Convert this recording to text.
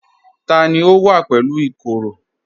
Tani ó wà pẹ̀lú ìkoro?